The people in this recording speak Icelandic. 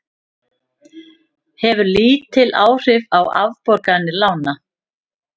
Hefur lítil áhrif á afborganir lána